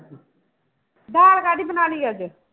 ਦਾਲ ਕਾਹਦੀ ਬਣਾ ਲਈ ਅੱਜ?